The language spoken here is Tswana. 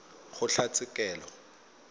kgotlatshekelo